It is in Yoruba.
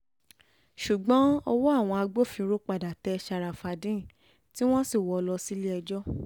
ṣùgbọ́n ọwọ́ àwọn agbófinró padà tẹ ṣàràfàdéèn tí wọ́n sì wọ́ ọ lọ sílé-ẹjọ́